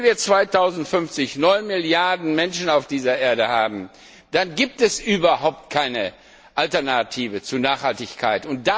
Wenn wir 2050 neun Milliarden Menschen auf dieser Erde haben, dann gibt es überhaupt keine Alternative zu Nachhaltigkeit.